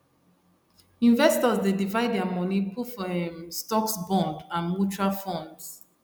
investors dey divide their money put for um stocks bonds and mutual funds